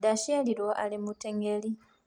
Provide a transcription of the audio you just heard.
Ndaaciarirũo arĩ mũteng’eri.